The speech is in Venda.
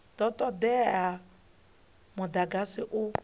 do todea uri mudagasi u